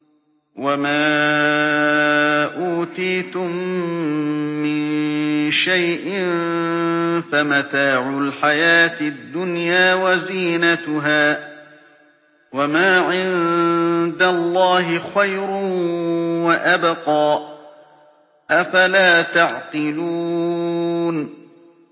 وَمَا أُوتِيتُم مِّن شَيْءٍ فَمَتَاعُ الْحَيَاةِ الدُّنْيَا وَزِينَتُهَا ۚ وَمَا عِندَ اللَّهِ خَيْرٌ وَأَبْقَىٰ ۚ أَفَلَا تَعْقِلُونَ